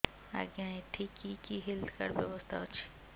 ଆଜ୍ଞା ଏଠି କି କି ହେଲ୍ଥ କାର୍ଡ ବ୍ୟବସ୍ଥା ଅଛି